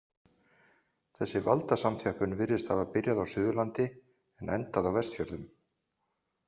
Þessi valdasamþjöppun virðist hafa byrjað á Suðurlandi en endað á Vestfjörðum.